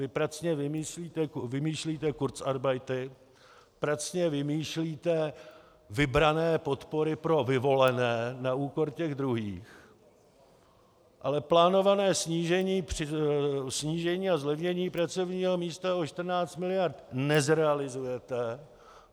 Vy pracně vymýšlíte kurzarbeity, pracně vymýšlíte vybrané podpory pro vyvolené na úkor těch druhých, ale plánované snížení a zlevnění pracovního místa o 14 miliard nezrealizujete.